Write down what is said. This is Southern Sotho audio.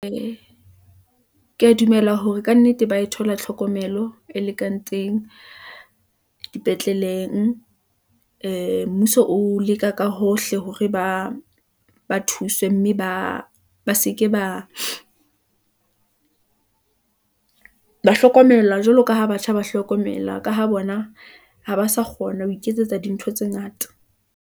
Ee , ke ya dumela hore kannete ba e thola tlhokomelo, e lekantseng dipetleleng . Ee mmuso o leka ka hohle hore ba thuswe mme ba seke ba hlokomela. Jwalo ka ha batjha ba hlokomela, ka ho bona ha ba sa kgona , ho iketsetsa dintho tse ngata.